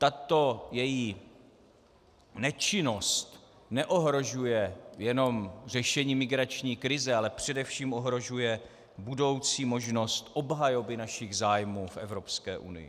Tato její nečinnost neohrožuje jenom řešení migrační krize, ale především ohrožuje budoucí možnost obhajoby našich zájmů v Evropské unii.